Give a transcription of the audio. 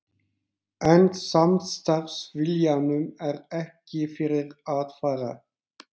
En samstarfsviljanum er ekki fyrir að fara.